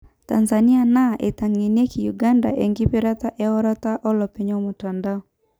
Tanzania naa enaitengenieki Uganda enkipirta eorata olopeny omutandao.